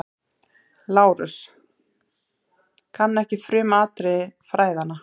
LÁRUS: Kann ekki frumatriði fræðanna.